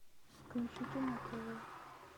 включи кино тв